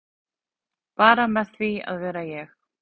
Bara með því að vera ég